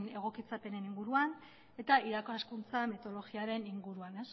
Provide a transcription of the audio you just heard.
egokitzapenean inguruan eta irakaskuntzan teologiaren inguruan